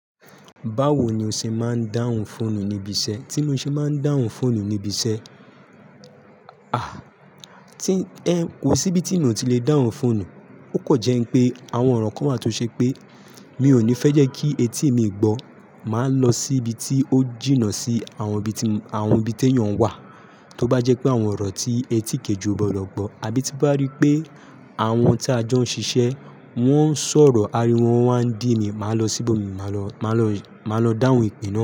Báwo ni o ṣe máa ń dáhùn fóònù níbi iṣẹ́? Tí mo ṣe máa ń dáhùn fóònù níbi iṣẹ́, à, tí, ẹ, ko sí bí tí mo ti le dáhùn fóònù. Ó kọ̀ jẹ́ pé àwọn ọ̀rọ̀ kan wáa tó ṣe pé mi ò ní fẹ́ jẹ́ kí etí mi gbọ́. Màá lọ síbi tí ó jìnnà sí àwọn ibi tí àwọn ibí téyàn wà, tó bá jẹ́ pé àwọn ọ̀rọ̀ tí ẹ ti kéji ọ gbodọ̀ gbọ́, àbí tí bá rí pé àwọn tí a jọ ń ṣiṣẹ́ wọ́n ń sọ̀rọ̀, áriwo wọn wá ń dí mi, màá lọ síbò mi, màá lọ, màá lọ, màá lọ dáhùn ìpe naa.